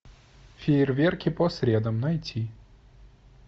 фейерверки по средам найти